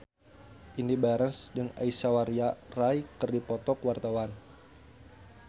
Indy Barens jeung Aishwarya Rai keur dipoto ku wartawan